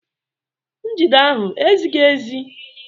Njide ahụ ezighi ezi?